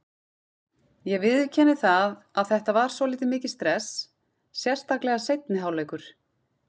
Ég viðurkenni það að þetta var svolítið mikið stress, sérstaklega seinni hálfleikur.